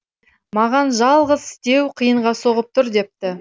маған жалғыз істеу қиынға соғып тұр депті